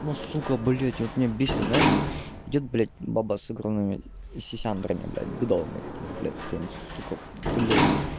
ну сука блядь вот меня бесит знаешь вот идёт блядь баба с огромными сисяндрами блядь бидонами такими блядь прям сука блядь